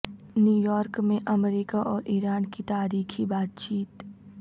New York میں America اور Iran کی تاریخی بات چیت